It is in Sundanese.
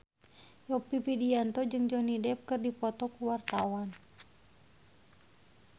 Yovie Widianto jeung Johnny Depp keur dipoto ku wartawan